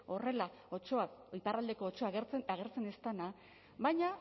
horrela otsoa iparraldeko otsoa agertzen ez dena baina